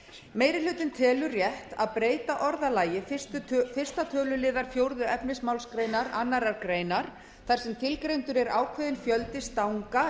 meiri hlutinn telur rétt að breyta orðalagi fyrstu töluliðar fjórða efnismgr annarrar greinar þar sem tilgreindur er ákveðinn fjöldi stanga